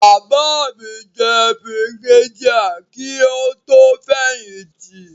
Bàbá mi jẹ́ Brigadier kí ó tó fẹ̀yìn tì.